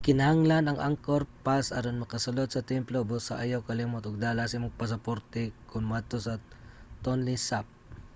gikinahanglan ang angkor pass aron makasulod sa templo busa ayaw kalimot og dala sa imong pasaporte kon moadto sa tonle sap